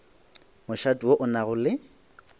mošate wo o nago le